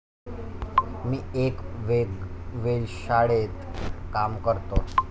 मी एक वेल्श शाळेत काम करतो.